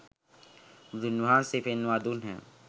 බුදුන් වහන්සේ පෙන්වා දුන්හ.